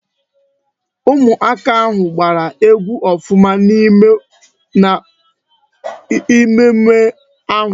Ụmụ aka ahụ gbara egwu ọfụma n'emume ahụ